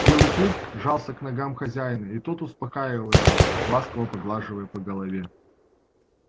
белый клык жался к ногам хозяина и тот успокаивал его ласково поглаживая по голове